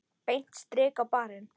Beint strik á barinn.